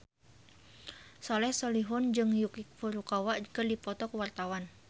Soleh Solihun jeung Yuki Furukawa keur dipoto ku wartawan